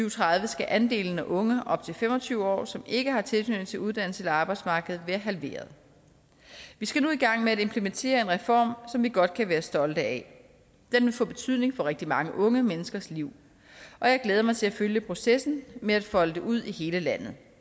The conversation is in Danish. og tredive skal andelen af unge op til fem og tyve år som ikke har tilknytning til uddannelse eller arbejdsmarked være halveret vi skal nu i gang med at implementere en reform som vi godt kan være stolte af den vil få betydning for rigtig mange unge menneskers liv og jeg glæder mig til at følge processen med at folde det ud i hele landet